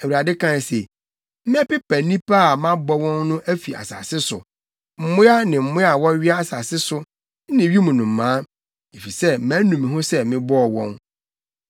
Awurade kae se, “Mɛpepa nnipa a mabɔ wɔn no afi asase so; mmoa ne mmoa a wɔwea asase so ne wim nnomaa, efisɛ manu me ho sɛ mebɔɔ wɔn.”